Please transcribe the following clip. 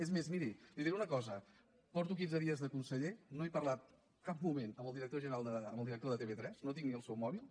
és més miri li diré una cosa porto quinze dies de conseller no he parlat cap moment amb el director de tv3 no tinc ni el seu mòbil